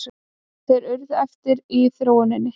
Þeir urðu eftir í þróuninni.